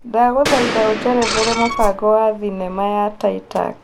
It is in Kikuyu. ndagũthaĩtha ũjerethere mũbango wa thĩnema ya titac